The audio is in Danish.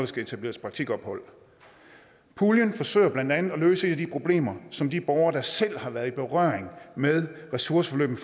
skal etableres praktikophold puljen forsøger blandt andet at løse et af de problemer som de borgere der selv har været i berøring med ressourceforløbene